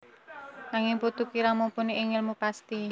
Nanging Putu kirang mumpuni ing ngèlmu pasti